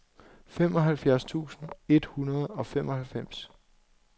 femoghalvfjerds tusind et hundrede og femoghalvfems